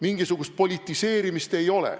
Mingisugust politiseerimist ei ole.